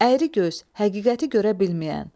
Əyri göz, həqiqəti görə bilməyən.